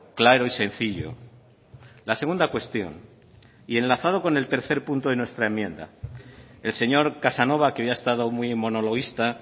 claro y sencillo la segunda cuestión y enlazado con el tercer punto de nuestra enmienda el señor casanova que hoy ha estado muy monologuista